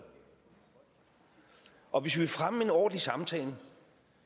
og hvis vi vil fremme en ordentlig samtale